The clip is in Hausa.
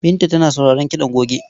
Binta tana sauraron kiɗan goge.